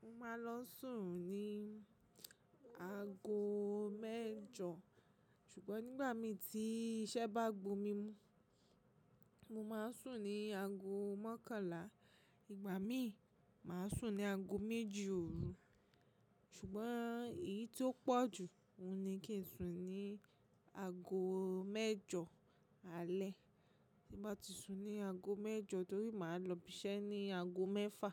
Mo máa lọ sùn ní ago mẹ́jọ ṣùgbọ́n nígbà mí tí iṣẹ́ bá gbo mi mú, mo máa sùn ní ago mọ́kànlá. Ìgbà míì, màá sùn ní ago méjì òru. Ṣùgbọ́n èyí tí ó pọ̀ jù, ohun ní kí n sùn ní ago mẹ́jọ alẹ́. Ti bá ti sùn ní ago mẹ́jọ, torí màá lọ ibiṣẹ́ ní ago mẹ́fà